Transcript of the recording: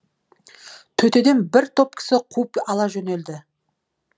төтеден бір топ кісі қуып ала жөнелді